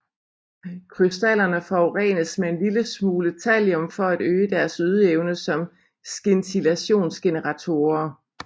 Krystallerne forurenes med en lille smule thallium for at øge deres ydeevne som scintillationsgeneratorer